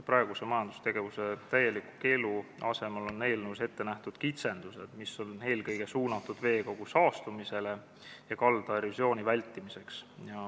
Praeguse majandustegevuse täieliku keelu asemel on eelnõus ette nähtud kitsendused, mis on eelkõige mõeldud veekogu saastumise ja kalda erosiooni vältimiseks.